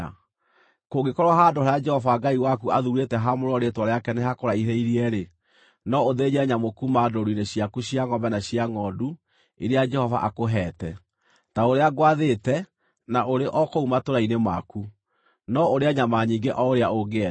Kũngĩkorwo handũ harĩa Jehova Ngai waku athuurĩte haamũrĩrwo Rĩĩtwa rĩake nĩ hakũraihĩrĩirie-rĩ, no ũthĩnje nyamũ kuuma ndũũru-inĩ ciaku cia ngʼombe na cia ngʼondu iria Jehova akũheete, ta ũrĩa ngwathĩte, na ũrĩ o kũu matũũra-inĩ maku, no ũrĩe nyama nyingĩ o ũrĩa ũngĩenda.